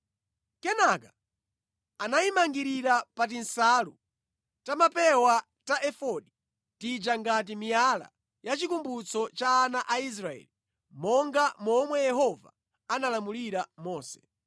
Kenaka anayimangirira pa tinsalu ta mʼmapewa ta efodi tija ngati miyala ya chikumbutso cha ana a Israeli monga momwe Yehova analamulira Mose.